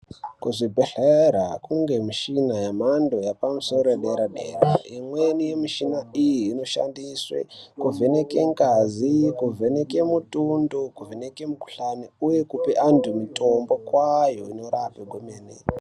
Kuzvibhedhlera kunge mishina yemhando yapamusoro dera dera imweni yemishina iyi inoshandiswe kuvheneke ngazi, kuvheneke mutundo kuvheneke mikhuhlani uye kupe antu mitombo kwayo inorape kwemene.